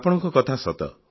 ଆପଣଙ୍କ କଥା ସତ